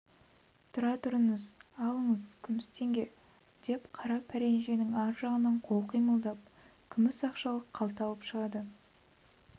тұра тұрыңыз алыңыз күміс теңге деп қара пәренженің ар жағынан қол қимылдап күміс ақшалы қалта алып шығады